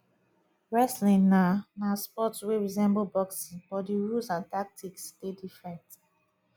wrestling na na sport wey resemble boxing but di rules and tactics dey different